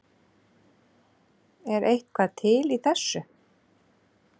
Er eitthvað til í þessu